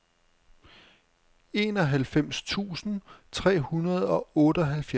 enoghalvfems tusind tre hundrede og otteoghalvfjerds